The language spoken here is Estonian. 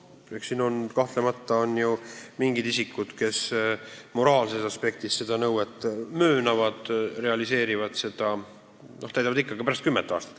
Samas, kahtlemata on ju mingid isikud, kes moraalset aspekti silmas pidades seda nõuet möönavad ja täidavad seda ka pärast kümmet aastat.